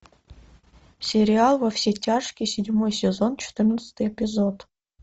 сериал во все тяжкие седьмой сезон четырнадцатый эпизод